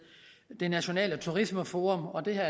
det nationale turismeforum og det her